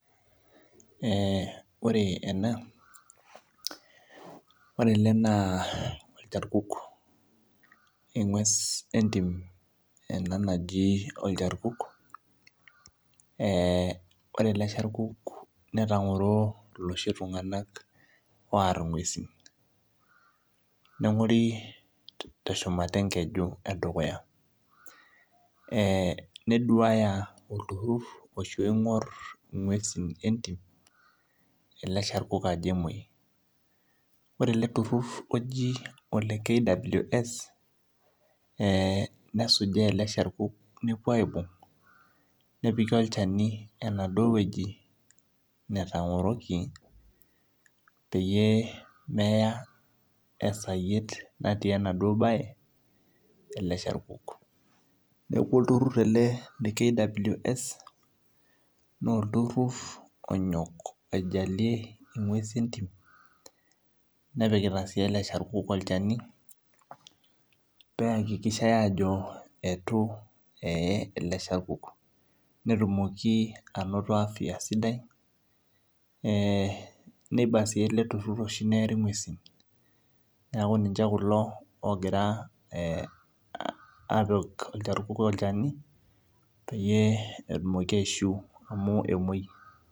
Ore ena, ore ele naa olcharkuk, eng'ues entim ena naji olcharkuk ore ele charkuk netangoro looshi tung'ana oar inguesi, nengori te shumata enkeju e dukuya neduaya olturur oshi oingor inguesi entim ele sharkuk ajo kemwoi. Ore ele turur oji KWS nesujaa ele sharkuk nepuoi aibung' nepiki olchani enaduo wueji natang'oroki peyie meya esayiet natii enaduo baye ele sharkuk. Neaku olturur ele le KWS naa olturur onyok aijalie inguesi entim nepikita sii ele charkuk olchani, pee eakikisha ajo eitu eye ele charkuk, netumoki ainoto afya sidai, neiba naa oshi ele turur teneari ing'uesin. Neaku ninche kulo oogira apik olcharkuk olchani peyie etumoki aishiu amu emoi.